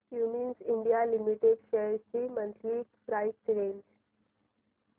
Cummins India limited shares ची monthly price range